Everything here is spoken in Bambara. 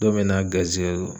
Don mɛɛ n'a garizigɛ